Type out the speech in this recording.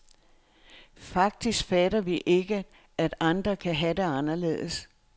Faktisk fatter vi ikke, at andre kan have det anderledes.